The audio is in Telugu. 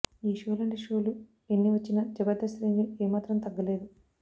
ఈ షో లాంటి షో లు ఎన్ని వచ్చినా జబర్దస్త్ రేంజి ఏమాత్రం తగ్గలేదు